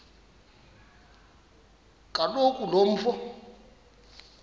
kaloku lo mfo